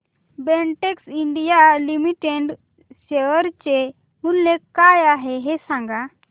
Betex India limited share चे मूल्य काय आहे हे सांगा